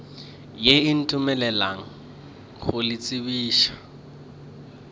ye ntumeleleng go le tsebiša